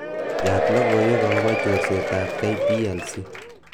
yaat logoiweka agobo chorsetab k.p.l.c